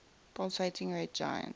pulsating red giant